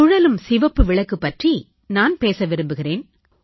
சுழலும் சிவப்பு விளக்கு பற்றி நான் பேச விரும்புகிறேன்